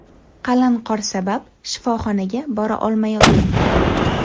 qalin qor sabab shifoxonaga bora olmayotgan edi.